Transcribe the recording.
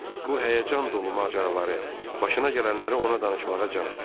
Bu həyəcan dolu macəraları, başına gələnləri ona danışmağa can atırdı.